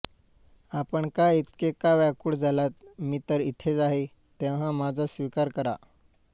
आपण का इतके का व्याकूळ झालात मी तर इथेच आहे तेव्हा माझा स्वीकार करा